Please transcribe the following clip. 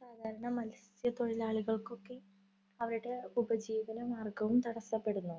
സാധാരണ മത്സ്യ തൊഴിലാളികള്‍ക്കൊക്കെ അവരുടെ ഉപജീവന മാര്‍ഗ്ഗവും തടസ്സപ്പെടുന്നു.